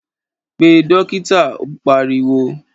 Pe Dókítà. Ó pariwo